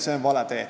See on vale tee.